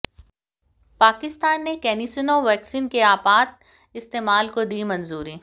पाकिस्तान ने CanSino vaccine के आपात इस्तेमाल को दी मंजूरी